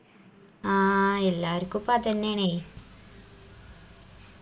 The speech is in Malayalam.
ആ എല്ലാർക്കുപ്പം അതെന്നേണേയ്